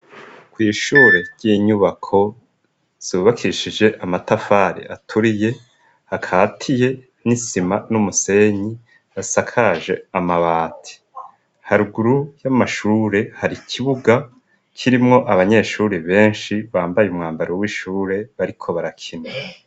Kwishure ry'inyubako zubakishije amatafari aturiye hakatiye n'isima n'umusenyi hasakaje amabati haruguru y'amashure hari ikibuga kirimwo abanyeshuri benshi bambaye umwambaro w'ishure bariko barakina.